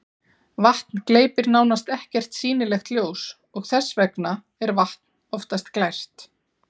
vatn gleypir nánast ekkert sýnilegt ljós og þess vegna er vatn oftast glært